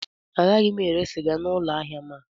Agaghị m ere sịga n'ụlọ ahịa m a